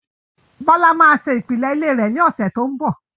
Bọlá máa ṣe ìpìlẹ̀ ilé rẹ̀ ní ọ̀sẹ̀ tí ó ń bọ̀